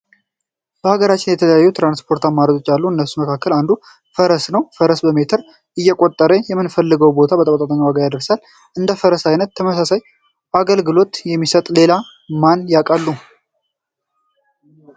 በሃገራችን የተለያዩ የትራንስፖርት አማራጮች አሉ። ከነሱ መካከል አንዱ ፈረስ ነው። ፈረስ በሜትር እየቆጠረ ምንፈልገው ቦታ በተመጣጣኝ ዋጋ ያደርሰናል። እንደ ፈረስ አይነት ተመሳሳይ አገልግሎት ሚሰጥ ሌላ ማንን ያቃሉ?